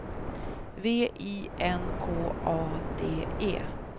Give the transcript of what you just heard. V I N K A D E